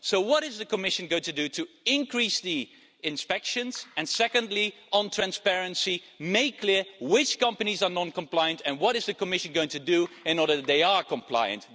So what is the Commission going to do to increase the inspections? And secondly on transparency make clear which companies are non-compliant and what is the Commission going to do in order that they are compliant?